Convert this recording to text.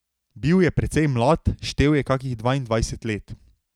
Bil je precej mlad, štel je kakih dvaindvajset let.